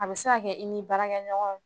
A bɛ se ka kɛ i ni barakɛ ɲɔgɔn